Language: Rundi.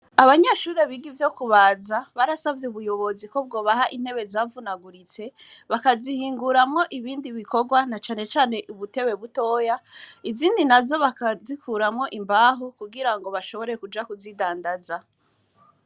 Abanyeshuri biga ivyo kubaza barasavye ubuyobozi ko bwo baha intebe zavunaguritse bakazihinguramo ibindi bikorwa na canecane ubutewe butoya izindi na zo bakazikuramwo imbaho kugira ngo bashobore kuja kuzidandaza.